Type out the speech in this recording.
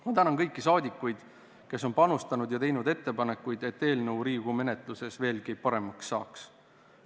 Ma tänan kõiki saadikuid, kes on panustanud ja teinud ettepanekuid, et eelnõu Riigikogu menetluses veelgi paremaks saaks!